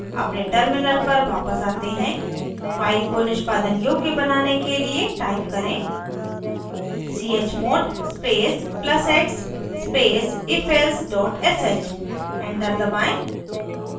अपने terminal पर वापस आते हैं file को निष्पादन योग्य बनाने के लिए type करें: